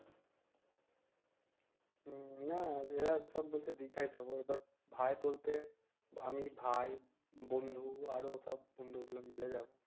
হম না এর যে বলছে দিখায় যাব এবার ভাই বলতে আমি ভাই বন্ধু আরো সব বন্ধু গুলা মিলে যাব